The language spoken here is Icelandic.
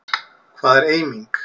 Hvað er eiming?